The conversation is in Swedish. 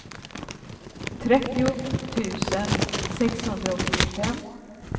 trettio tusen sexhundraåttiofem